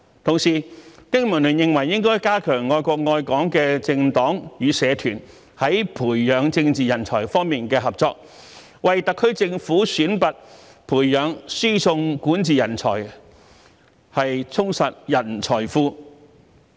同時，經民聯認為應加強愛國愛港的政黨與社團在培養政治人才方面的合作，為特區政府選拔、培養、輸送管治人才，充實人才庫。